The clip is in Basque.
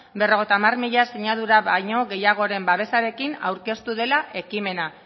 berrogeita hamar mila sinadura baino gehiagoren babesarekin aurkeztu dela ekimena